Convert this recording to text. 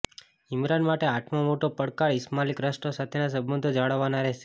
ઈમરાન માટે આઠમો મોટો પડકાર ઈસ્લામિક રાષ્ટ્રો સાથેના સંબંધો જાળવવાનો રહેશે